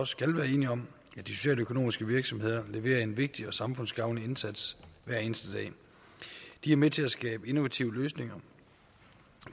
skal være enige om at de socialøkonomiske virksomheder leverer en vigtig og samfundsgavnlig indsats hver eneste dag de er med til at skabe innovative løsninger